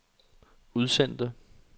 udsendte